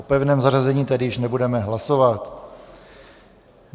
O pevném zařazení tedy již nebudeme hlasovat.